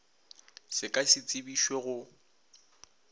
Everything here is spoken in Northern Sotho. se ka se tsebišwe go